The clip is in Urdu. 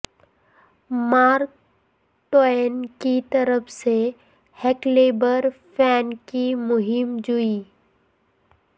مارک ٹوین کی طرف سے ہکلیبر فین کی مہم جوئی